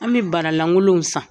An bɛ bara langolow san.